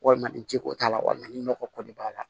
Walima ni ji ko t'a la walima ni nɔgɔ ko de b'a la